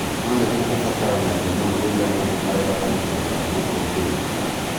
no nĩguo ũbataranagia mũno rĩrĩa mũndũ arenda kũruta wĩra wa gũteithĩrĩria andũ.